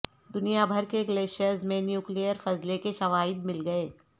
دنیا بھر کے گلیشیئرز میں نیوکلیئر فضلے کے شواہد مل گئے